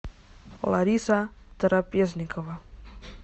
лариса трапезникова